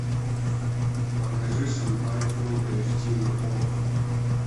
покажи шанхай фулл эйч ди на окко